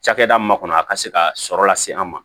Cakɛda min kɔnɔ a ka se ka sɔrɔ lase an ma